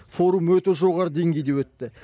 форум өте жоғары деңгейде өтті